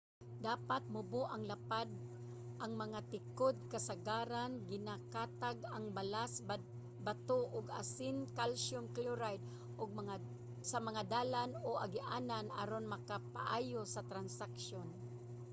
dapat mubo ug lapad ang mga tikod. kasagaran ginakatag ang balas bato ug asin calcium chloride sa mga dalan o agianan aron makapaayo sa traksyon